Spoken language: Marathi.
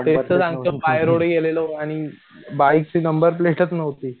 तेच तो सांगतो बाय रोड गेलेलो आणि बाईक ची नंबर प्लेटच नव्हती.